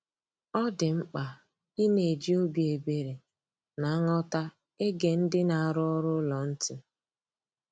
Ọ dị mkpa ịna eji obi ebere na nghọta ege ndị na-arụ ọrụ ụlọ ntị